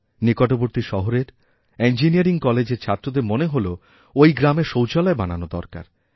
নিকটবর্তী শহরের ইঞ্জিনিয়ারিং কলেজের ছাত্রদের মনে হল ওই গ্রামে শৌচালয়বানানো দরকার